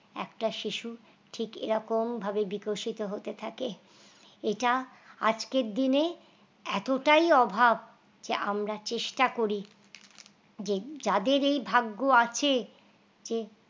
একটা শিশু ঠিক এরকম ভাবে বিকশিত হতে থাকে এটা আজকের দিনে এতটাই অভাব যে আমরা চেষ্টা করি, যে যাদের এই ভাগ্য আছে যে